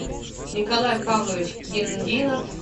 николай павлович киндинов